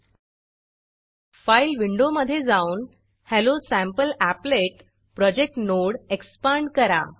file file विंडोमधे जाऊन hello sample applet hello sample applet project node expand करा